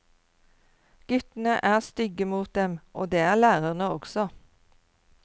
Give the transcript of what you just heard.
Guttene er stygge mot dem, og det er lærerne også.